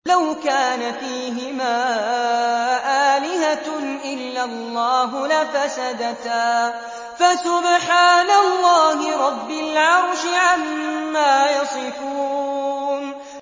لَوْ كَانَ فِيهِمَا آلِهَةٌ إِلَّا اللَّهُ لَفَسَدَتَا ۚ فَسُبْحَانَ اللَّهِ رَبِّ الْعَرْشِ عَمَّا يَصِفُونَ